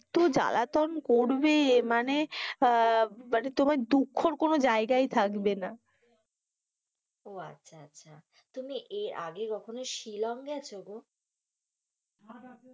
এতো জালাতন করবে, মানে আহ মানে তোমার দুঃখর কোনো জায়গায় থাকবে না, ও আচ্ছা আচ্ছা আচ্ছা, তুমি এর আগে কখনো শিলং গেছো গো,